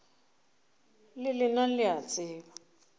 le lena le a tseba